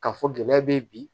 K'a fɔ gɛlɛya bɛ yen bi